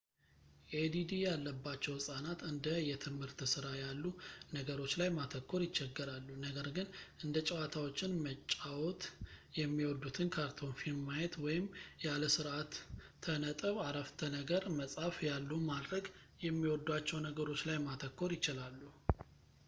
ኤዲዲ ያለባቸው ህፃናት እንደ የትምህርት ስራ ያሉ ነገሮች ላይ ማተኮር ይቸገራሉ ነገር ግን እንደ ጨዋታዎችን መጫዎወት የሚወዱትን ካርቶን ፊልም ማየት ወይም ያለ ስርዓተ ነጥብ አረፍተ ነገር መጻፍ ያሉ ማድረግ የሚወዷቸው ነገሮች ላይ ማተኮር ይችላሉ